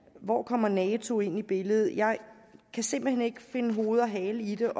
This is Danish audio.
hvor kommer nato ind i billedet jeg kan simpelt hen ikke finde hoved og hale i det